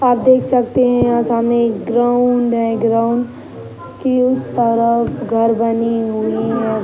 आप देख सकते हैं यहाँ सामने एक ग्राउंड है। ग्राउंड के तरफ घर बनी हुई है।